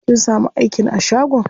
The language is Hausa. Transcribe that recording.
Kin samu aikin a shagon?